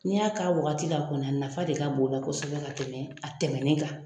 N'i y'a ka wagati la kɔni a nafa de ka bon o la kosɛbɛ ka tɛmɛ a tɛmɛni kan.